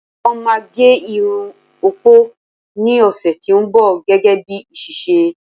wón ma gé Irun opo ni ọsẹ ti o nbọ, gégé bi iṣẹṣe